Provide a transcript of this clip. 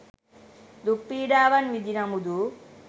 දුක් පීඩාවන් විඳි නමුදු